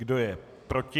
Kdo je proti?